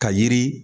Ka yiri